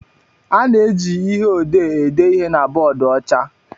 A na-eji ihe odee ede ihe na bọọdụ ọcha